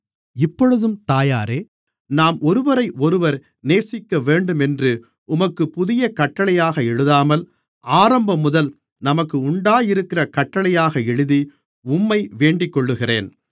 இப்பொழுதும் தாயாரே நாம் ஒருவரையொருவர் நேசிக்கவேண்டும் என்று உமக்குப் புதிய கட்டளையாக எழுதாமல் ஆரம்பம் முதல் நமக்கு உண்டாயிருக்கிற கட்டளையாக எழுதி உம்மை வேண்டிக்கொள்ளுகிறேன்